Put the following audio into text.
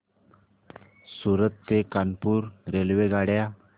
सूरत ते कानपुर रेल्वेगाड्या